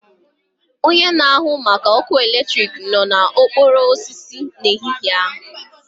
Onye na-ahụ maka ọkụ eletrik nọ na okporo osisi n'ehihie a